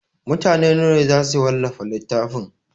Mutane nawa ne za su wallafa littafin?